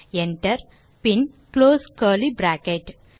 Enter பின் close curly bracket